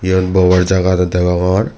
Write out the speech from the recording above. iyot bobar jaga dw degongor.